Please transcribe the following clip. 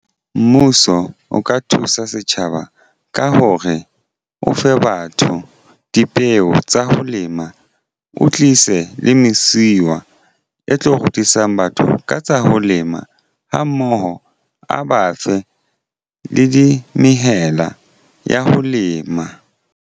Mmuso o ka thusa setjhaba ka hore o fe batho dipeo tsa ho lema. O tlise le mesiwa e tlo rutisa batho ka tsa ho lema ha mmoho a ba fe le di mmehela ya ho lema.